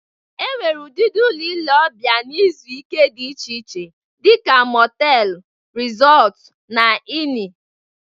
E nwere udịdị ụlọ ile ọbịa na izu ike dị iche iche dịka mọtelu, resọtụ na ini